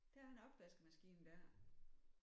Der er en opvaskemaskine der